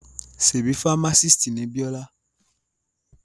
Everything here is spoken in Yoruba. Ṣebí fámásìst ni Bíọ́lá?